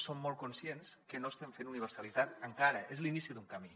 som molt conscients que no estem fent universalitat encara és l’inici d’un camí